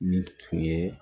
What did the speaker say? Ni tun ye